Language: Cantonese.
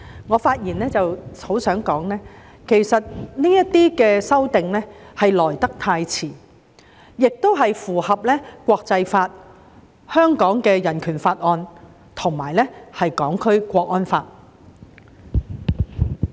我希望在此發言指出，這些修訂其實來得太遲，而且符合國際法、《香港人權法案條例》和《香港國安法》。